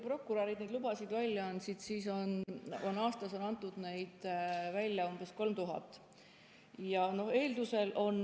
Prokurörid on neid lubasid välja andnud umbes 3000 aastas.